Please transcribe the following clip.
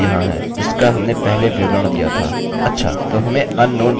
अच्छा तो हमें unknown mysql server host मिला